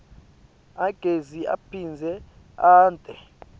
agezi aphindze ente